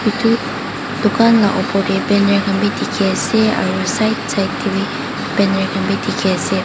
Etu tukan laga opor teh banner kanbe teki ase aro side side teh banner kanbe teki ase.